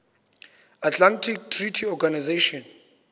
atlantic treaty organization